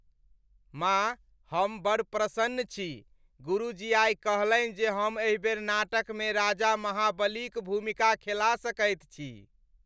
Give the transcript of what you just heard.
माँ, हम बड़ प्रसन्न छी, गुरुजी आइ कहलनि जे हम एहि बेर नाटकमे राजा महाबलीक भूमिका खेला सकैत छी।